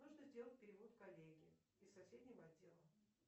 нужно сделать перевод коллеге из соседнего отдела